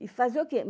E fazer o quê?